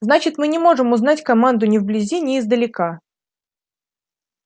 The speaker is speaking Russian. значит мы не можем узнать команду ни вблизи ни издалека